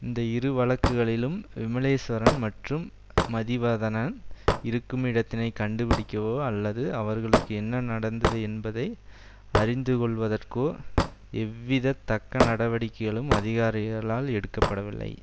இந்த இரு வழக்குகளிலும் விமலேஸ்வரன் மற்றும் மதிவதனன் இருக்கும் இடத்தினைக் கண்டுபிடிக்கவோ அல்லது அவர்களுக்கு என்ன நடந்தது என்பதை அறிந்து கொள்வதற்கோ எவ்வித தக்க நடவடிக்கைகளும் அதிகாரிகளால் எடுக்க படவில்லை